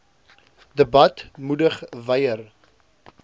debat moedig wyer